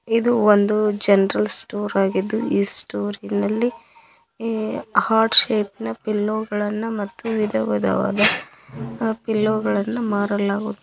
ಇದು ಒಂದು general store ಆಗಿದ್ದು ಇ ಸ್ಟೋರ್ ನಲ್ಲಿ ಇ ಹಾರ್ಟ್ ಶೇಪ್ ನ ಪಿಲ್ಲೋ ಗಳನ್ನ ಮತ್ತು ವಿಧವಿಧವಾದ ಪಿಲ್ಲೋ ಗಳನ್ನ ಮಾರಲಾಗುತ್ತದೆ.